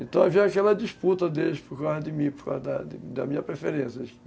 Então, havia aquela disputa deles por causa de mim, por causa da da minha preferência.